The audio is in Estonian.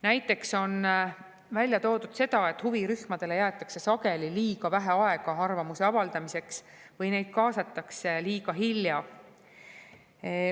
Näiteks on välja toodud seda, et huvirühmadele jäetakse sageli liiga vähe aega arvamuse avaldamiseks või neid kaasatakse liiga hilja.